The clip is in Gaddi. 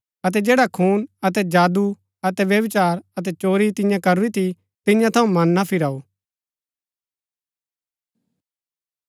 अतै जैडा खून अतै जादू अतै व्यभिचार अतै चोरी तियें करूरी थी तियां थऊँ मन ना फिराऊ